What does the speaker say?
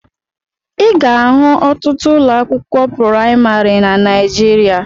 Ị ga-ahụ ọtụtụ ụlọ akwụkwọ praimarị na Naijiria